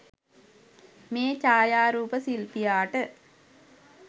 මේ ඡායාරූප ශිල්පියාට